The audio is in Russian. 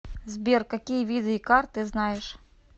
сбер какие виды икар ты знаешь